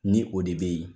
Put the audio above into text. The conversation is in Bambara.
Ni o de bɛ yen